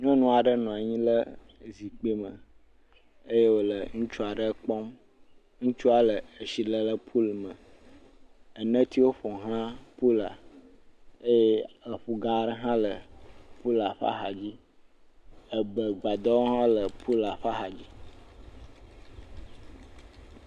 Nyɔnu aɖe nɔ anyi ɖe zikpui me eye wole ŋutsu aɖe kpɔm. Ŋutsua le etsi lem le pul me. Enetsiwo ƒoxla pul la eye eƒu gã aɖe hã le pu la ƒe axadzi. Ebegbadɔwo hã le pul la ƒe axadzi.